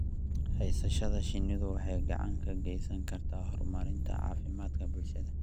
Haysashada shinnidu waxay gacan ka geysan kartaa horumarinta caafimaadka bulshada.